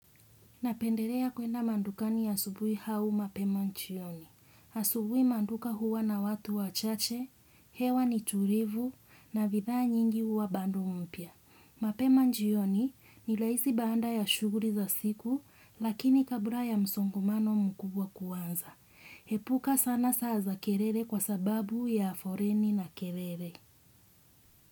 Napendelea kuenda madukani asubuhi au mapema jioni. Asubuhi maduka huwa na watu wachache, hewa ni tulivu na bidhaa nyingi huwa bado mpya. Mapema jioni ni rahisi baada ya shughuli za siku lakini kabla ya msongamano mkubwa kuanza epuka sana saa za kelele kwa sababu ya foleni na kelele.